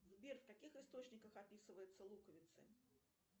сбер в каких источниках описываются луковицы